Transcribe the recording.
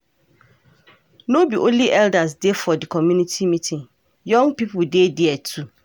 No be only elders dey for di community meeting, young pipo dey there too.